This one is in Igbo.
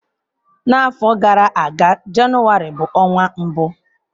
N'afọ gara aga, Jenụwarị bụ ọnwa mbụ.